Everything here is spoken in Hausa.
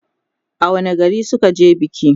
a wani gari suka je biki?